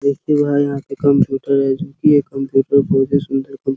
देखिए भाई यहाँ पे कंप्यूटर है चूंकि ये कंप्यूटर बहुत ही सुंदर --